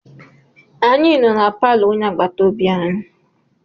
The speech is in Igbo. Anyị nọ na palọ onye agbataobi anyị.